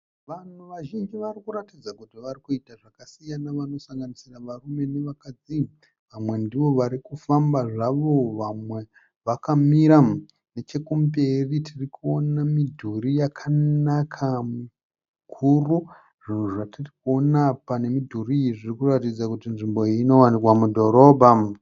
Vanhu vazhinji varikuratidza kuti varikuita zvakasiyana, vanosanganisira varume nevakadzi. Vamwe ndivo varikufambazvavo vamwe vakamira. Nechekumberi tirikuona midhuri yakanaka mikuru, zvinhu zvatiri kuona apa nemidhuri iyi zvirikuratidza kuti nzvimbo iyi inowanikwa mudhorobha.